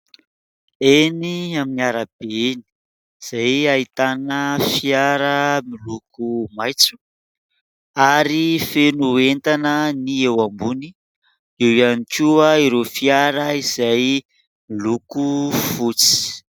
Eny amin'ny arabe eny izay ahitana fiara miloko maitso ary feno entana ny eo ambony, eo ihany koa ireo fiara izay miloko fotsy.